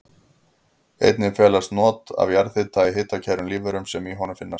Einnig felast not af jarðhita í hitakærum lífverum sem í honum finnast.